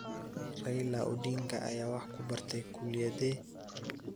Raila Odinga ayaa wax ku bartay kulliyaddee